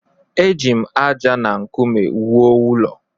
Eji m ájá na nkume wuo ụlọ.